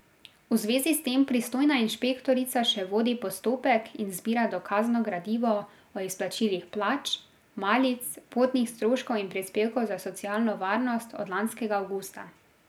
V zvezi s tem pristojna inšpektorica še vodi postopek in zbira dokazno gradivo o izplačilih plač, malic, potnih stroškov in prispevkov za socialno varnost od lanskega avgusta.